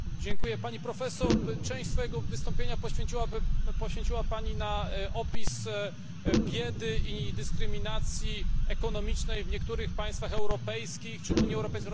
Część swojego wystąpienia poświęciła Pani opisowi biedy i dyskryminacji ekonomicznej w niektórych państwach europejskich czy Unii Europejskiej oraz Stanach Zjednoczonych.